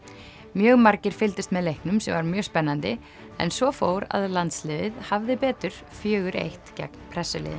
mjög margir fylgdust með leiknum sem var mjög spennandi en svo fór að landsliðið hafði betur fjögur til einn gegn